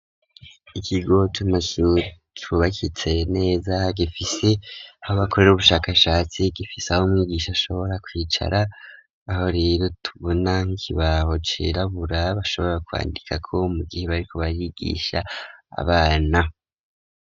Ikigo c'amashuri cubakitse neza gifisi aho bakorere ubushakashatsi gifisi aho umwigisha ashobora kwicara aho rero tubona ikibaho cirabura bashobora kwandikako mu gihe bariko barigisha abana.